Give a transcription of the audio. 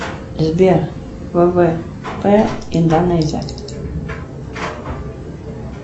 сбер ввп индонезия